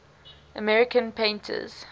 american painters